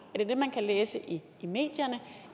er det det man kan læse i medierne